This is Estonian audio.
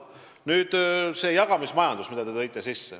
Nüüd, jagamismajandus, mida mainisite.